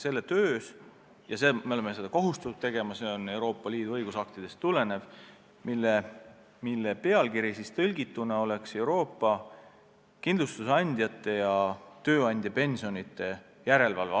Finantsinspektsioon tõepoolest osaleb sellise asutuse töös, mille nimi on otsetõlkes Euroopa Kindlustus- ja Tööandjapensionide Järelevalve.